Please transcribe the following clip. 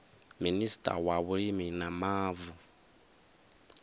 minista wa vhulimi na mavu